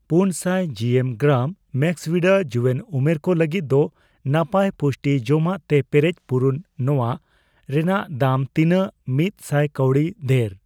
ᱯᱩᱱ ᱥᱟᱭ ᱡᱤᱮᱢ, ᱜᱨᱟᱢ ᱢᱮᱠᱥᱵᱷᱤᱫᱟ ᱡᱩᱭᱟᱹᱱ ᱩᱢᱮᱨ ᱠᱚ ᱞᱟᱹᱜᱤᱫ ᱫᱚ ᱱᱟᱯᱟᱭ ᱯᱩᱥᱴᱤ ᱡᱚᱢᱟᱜ ᱛᱮ ᱯᱮᱨᱮᱡ ᱯᱩᱨᱚᱱ ᱱᱚᱣᱟ ᱨᱮᱱᱟᱜ ᱫᱟᱢ ᱛᱤᱱᱟᱜ ᱢᱤᱛ ᱥᱟᱭ ᱠᱟᱣᱰᱤ ᱫᱷᱮᱨ?